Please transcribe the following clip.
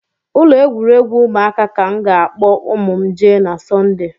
Ụlọ egwuregwu ụmụaka ka m ga-akpọ ụmụ m jee na sọnde